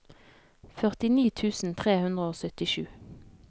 førtini tusen tre hundre og syttisju